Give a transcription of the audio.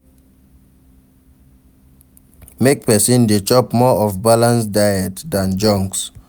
Make persin de chop more of balance diet than junks